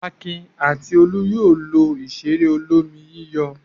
Akin àti Olú yóò lo ìṣeré olómi-yíyọ̀.